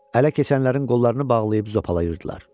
Ələ keçənlərin qollarını bağlayıb zopayayırdılar.